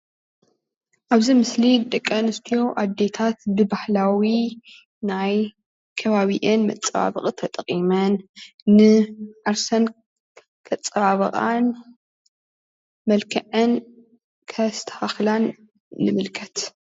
ኣብዚ ምስሊ እዚ ደቂ ኣንስትዮ ኣዴታት ብባህላዊ ናይ ከባቢአን መፀባበቒ ተጠቒመን ንዓርሰን ከፅባብቓን መልኮዐን ከስተኻኽላን ንምልከት::